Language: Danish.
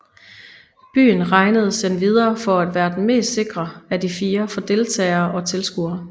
Byen regnedes endvidere for at være den mest sikre af de fire for deltagere og tilskuere